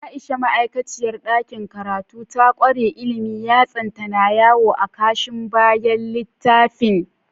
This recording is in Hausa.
Aisha, ma’aikaciyar dakin karatu, ta kware ilimi, yatsanta na yawo a kashin bayan littafin.